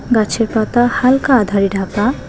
গাছের পাতা হালকা আঁধারে ঢাকা।